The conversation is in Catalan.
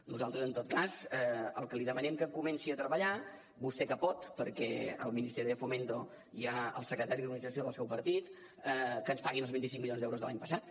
nosaltres en tot cas en el que li demanem que comenci a treballar vostè que pot perquè al ministerio de fomento hi ha el secretari d’organització del seu partit és en que ens paguin els vint cinc milions d’euros de l’any passat